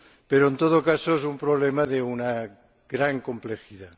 Pero en todo caso es un problema de una gran complejidad.